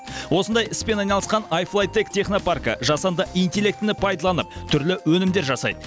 осындай іспен айналысқан ай флай тек технопаркі жасанды интеллектіні пайдаланып түрлі өнімдер жасайды